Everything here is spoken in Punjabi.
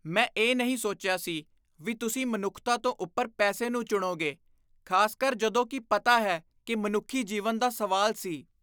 ਮੈਂ ਇਹ ਨਹੀਂ ਸੋਚਿਆ ਸੀ ਵੀ ਤੁਸੀਂ ਮਨੁੱਖਤਾ ਤੋਂ ਉੱਪਰ ਪੈਸੇ ਨੂੰ ਚੁਣੋਗੇ, ਖ਼ਾਸਕਰ ਜਦੋਂ ਕਿ ਪਤਾ ਹੈ ਕਿ ਮਨੁੱਖੀ ਜੀਵਨ ਦਾ ਸਵਾਲ ਸੀ।